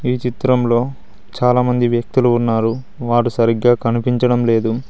ఈ చిత్రంలో చాలామంది వ్యక్తులు ఉన్నారు వారు సరిగ్గా కనిపించడం లేదు.